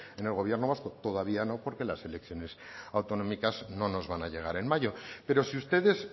en el gobierno vasco todavía no porque las elecciones autonómicas no nos van a llegar en mayo pero si ustedes